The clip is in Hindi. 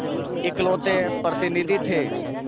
इकलौते प्रतिनिधि थे